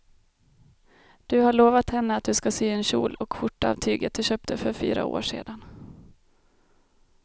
Du har lovat henne att du ska sy en kjol och skjorta av tyget du köpte för fyra år sedan.